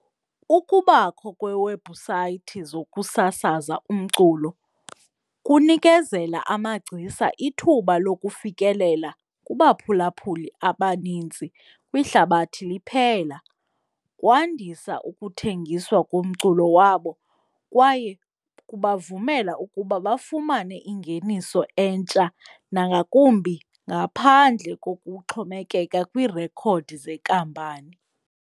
Ukubakho kweewebhusayithi zokusasaza umculo kunikezela amagcisa ithuba lokufikelela kubaphulaphuli abanintsi kwihlabathi liphela. Kwandisa ukuthengiswa komculo wabo kwaye kubavumela ukuba bafumane ingeniso entsha nangakumbi ngaphandle kokuxhomekeka kwirekhodi zenkampani.